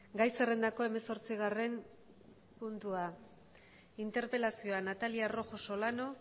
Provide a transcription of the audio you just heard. gai zerrendako hemezortzigarren puntua interpelazioa natalia rojo solana